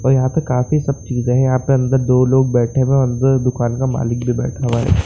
और यहाँ पे काफी सब चीजे हैं यहाँ पे अंदर दो लोग बैठे हुए हैं अंदर दूकान का मालिक भी बैठा हुआ है।